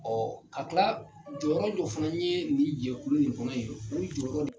ka kila jɔyɔrɔ dɔ fana ye nin jɛkulu in kɔnɔ ye o jɔyɔrɔ